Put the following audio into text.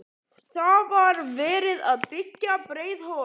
Þá var verið að byggja Breiðholtið.